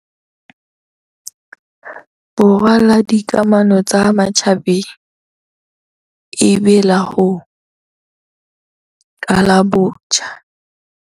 Borwa la dika mano tsa matjhabeng e be la ho qala botjha.